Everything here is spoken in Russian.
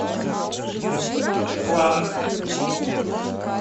кланг